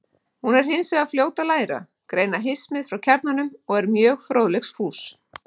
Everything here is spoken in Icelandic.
Hún er hins vegar fljót að læra, greina hismið frá kjarnanum og er mjög fróðleiksfús.